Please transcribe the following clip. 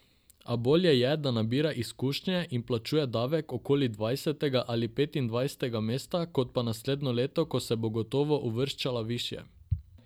A bolje je, da nabira izkušnje in plačuje davek okoli dvajsetega ali petindvajsetega mesta, kot pa naslednje leto, ko se bo gotovo uvrščala višje.